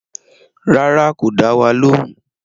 Rárá, kò dá wa lóhùn